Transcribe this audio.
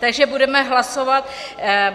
Takže budeme hlasovat.